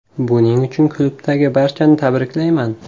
Buning uchun klubdagi barchani tabriklayman.